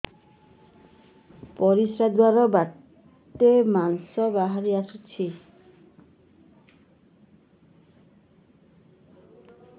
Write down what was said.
ପରିଶ୍ରା ଦ୍ୱାର ବାଟେ ମାଂସ ବାହାରି ଆସୁଛି